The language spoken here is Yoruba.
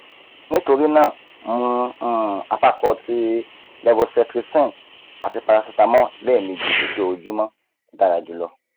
nitori naa mu um apapo ti levocetrizine ati paracetamol lẹẹmeji lojoojumọ dara julọ